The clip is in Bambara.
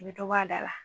I bɛ dɔ bɔ a da la